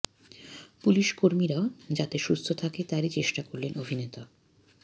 police কর্মীরাও যাতে সুস্থ থাকে তারই চেষ্টা করলেন অভিনেতা